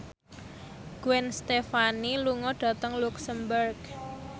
Gwen Stefani lunga dhateng luxemburg